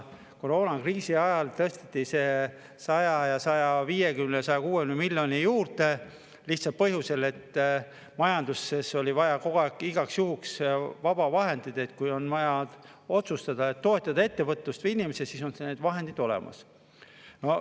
Koroonakriisi ajal tõsteti see 100 ja 150 ja 160 miljoni juurde lihtsalt põhjusel, et majanduses oli vaja kogu aeg igaks juhuks vabu vahendeid, et kui on vaja otsustada toetada ettevõtlust või inimesi, siis on need vahendid olemas.